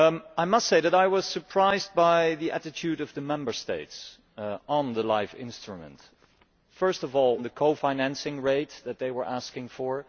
I must say that I was surprised by the attitude of the Member States on the LIFE instrument first of all, on the co financing rate that they were asking for.